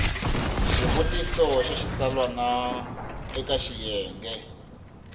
xivutiso xa xitsalwana eka xiyenge